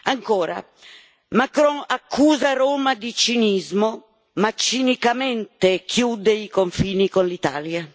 Ancora, Macron accusa Roma di cinismo, ma cinicamente chiude i confini con l'Italia.